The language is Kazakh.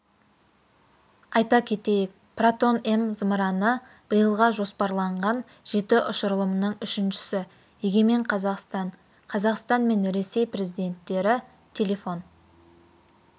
айта кетейік протон-м зымыраны биылға жоспарланған жеті ұшырылымның үшіншісі егемен қазақстан қазақстан мен ресей президенттері телефон